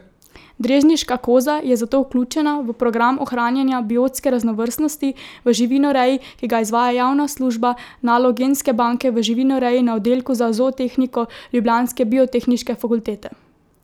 Drežniška koza je zato vključena v program ohranjanja biotske raznovrstnosti v živinoreji, ki ga izvaja javna služba nalog genske banke v živinoreji na oddelku za zootehniko ljubljanske biotehniške fakultete.